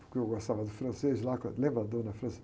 Porque eu gostava do francês lá, com a, lembra a dona?